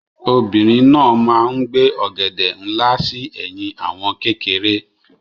Obìnrin náà máa ń gbé ọ̀gẹ̀dẹ̀ nlá sí ẹ̀yìn àwọn kékeré.